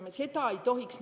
Seda ei tohiks teha.